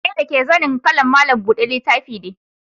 Zane dake zanin ƙalar malam buɗe littafi ne.